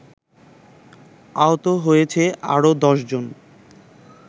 আহত হয়েছে আরো দশজন।